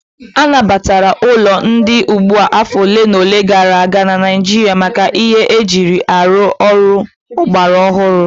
A nabatara ụlọ ndị dị ugbu a afọ ole na ole gara aga na Naịjirịa maka ihe eji arụ ọrụ ọgbara ọhụrụ